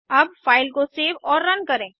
अब फ़ाइल को सेव और रन करें